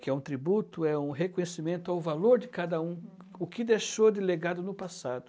que é um tributo, é um reconhecimento ao valor de cada um, o que deixou de legado no passado.